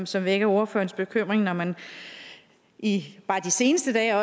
som vækker ordførerens bekymring når man de seneste dage